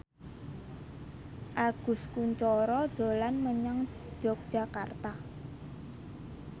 Agus Kuncoro dolan menyang Yogyakarta